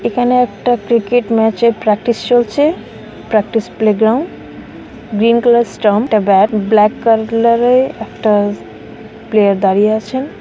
এখানে একটা ক্রিকেট ম্যাচের প্র্যাকটিস চলছে practice playground green colour stump এ ব্যাট ব্ল্যাক কা-লা-র একটা প্লেয়ার দাঁড়িয়ে আছেন।